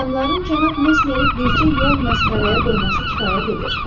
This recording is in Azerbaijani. Adamların cənab Mesmeri bircə yol məsxərəyə qoyması kifayət edir.